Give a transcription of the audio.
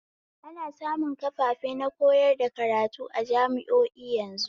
Ana samun kafafe na koyar da karatu a jami'o'i yanzu